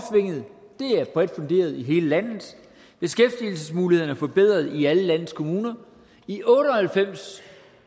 bredt funderet i hele landet beskæftigelsesmulighederne er forbedret i alle landets kommuner i otte og halvfems